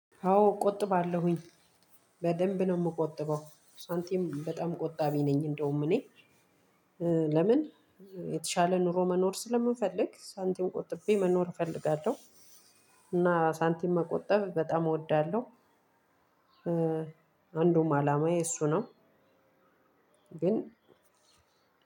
አዎ እቆጥባለሁኝ በደንብ ነው የምቆጥበው ሳንቲም በጣም ቆጣቢ ነኝ። እንደውም እኔ ለምን? የተሻለ ኑሮ መኖር ስለምፈልግ ሳንቲም ቆጥቤ መኖር እፈልጋለው። እና ሳንቲም መቆጠብ በጣም እወዳለሁ። አንዱም አላማዬ እሱ ነው። ግን